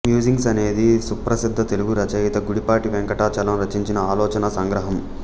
musings అనేది సుప్రసిద్ధ తెలుగు రచయిత గుడిపాటి వెంకటచలం రచించిన ఆలోచనా సంగ్రహం